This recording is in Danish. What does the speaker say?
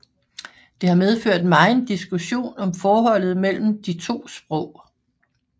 Det har medført megen diskussion om forholdet mellem de to sprog